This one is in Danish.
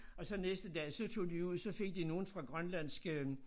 Og så næste dag så tog de ud så fik de nogen fra grønlandske øh